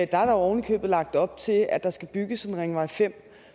der oven i købet lagt op til at der skal bygges en ringvej fem